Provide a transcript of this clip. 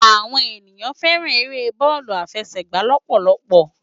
Awòn éniyàn fèrán éré bòlú áfèsègbá lòpòlòpò